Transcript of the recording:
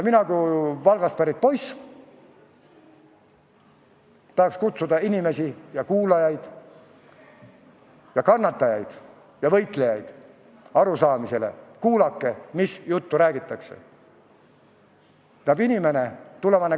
Mina kui Valgast pärit poiss tahan kutsuda inimesi, kuulajaid, kannatajaid ja võitlejaid üles: kuulake, mis juttu räägitakse!